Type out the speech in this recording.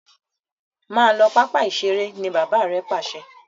mọ ló papa iṣere.! ní bàbá rẹ Pàṣẹ!